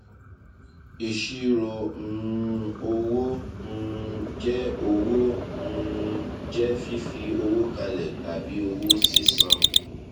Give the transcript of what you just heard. ìṣirò um owó um jẹ owó um jẹ fífi owó kalẹ tàbí owó sísan